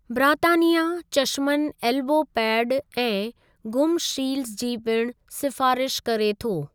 ब्रातानिया चशमनि elbow pad ऐं गुमु शीलडज़ जी पिणु सिफ़ारिश करे थो।